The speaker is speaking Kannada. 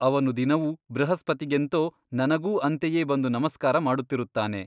ಅವನು ದಿನವೂ ಬೃಹಸ್ಪತಿಗೆಂತೋ ನನಗೂ ಅಂತೆಯೇ ಬಂದು ನಮಸ್ಕಾರ ಮಾಡುತ್ತಿರುತ್ತಾನೆ.